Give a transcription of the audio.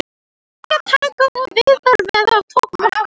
Eggjataka og veiðar verði takmörkuð